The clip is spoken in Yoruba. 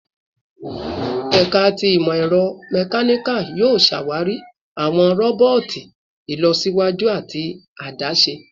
Ẹka ti Imọ-ẹrọ Mechanical yoo ṣawari awọn roboti ilọsiwaju ati adaṣe